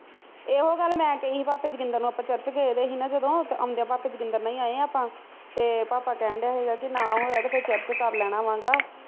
ਇਹੋ ਗੱਲ ਮੈਂ ਕਹੀ ਹੀ ਭਾਪੇ ਜੋਗਿੰਦਰ ਨੂੰ ਆਪਾ ਚਰਚ ਗਏ ਦੇ ਹੀ ਨਾ ਜਦੋਂ ਤੇ ਆਉਦਿਆ ਭਾਪੇ ਜੋਗਿੰਦਰ ਨਾਲ ਹੀ ਆਏ ਆਪਾ ਤੇ ਭਾਪਾ ਕਹਿਣ ਦਿਆ ਹੀ ਗਾ ਨਾ ਹੋਇਆ ਤੇ ਫਿਰ ਚਰਚ ਕਰ ਲਵਾਗਾ